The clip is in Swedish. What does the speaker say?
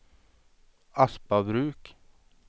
Aspabruk